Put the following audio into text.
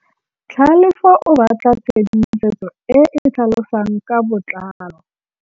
Tlhalefô o batla tshedimosetsô e e tlhalosang ka botlalô.